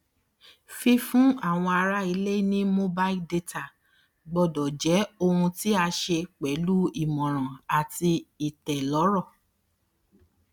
fífún àwọn ará ilé ní mobile data gbọdọ jẹ ohun tí a ṣe pẹlú ìmọràn àti ìtẹlọrọ